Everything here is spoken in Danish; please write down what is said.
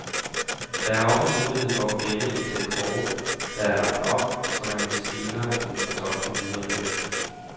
Der er også mulighed for at gemme et sæt kort, der er lagt op, så man senere kan fortolke videre på det.